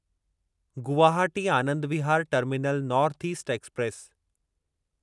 Guwahati Anand Vihar terminal north east express